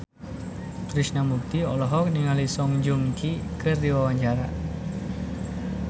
Krishna Mukti olohok ningali Song Joong Ki keur diwawancara